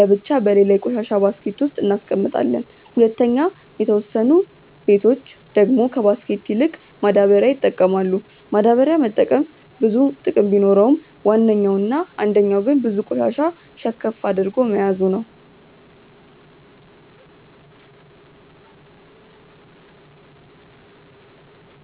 ለብቻ በሌላ የቆሻሻ ባስኬት ውስጥ እናስቀምጣለም። 2. የተወሰኑ በቶች ደግሞ ከባስኬት ይልቅ ማዳበሪያ ይጠቀማሉ፤ ማዳበሪያ መጠቀም ብዙ ጥቅም ቢኖረውም ዋነኛው እና አንደኛው ግን ብዙ ቆሻሻ ሸከፍ አድርጎ መያዙ ነው።